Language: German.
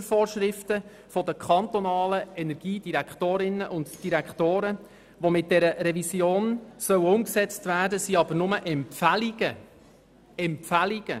Die Mustervorschriften der Kantone im Energiebereich (MuKEn) der Konferenz Kantonaler Energiedirektoren (EnDK), die mit dieser Revision umgesetzt werden sollen, sind demgegenüber nur Empfehlungen.